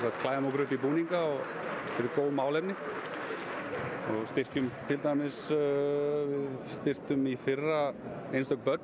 klæðum okkur upp í búnina fyrir góð málefni styrktum styrktum í fyrra einstök börn